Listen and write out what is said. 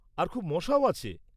আর খুব মশাও আছে।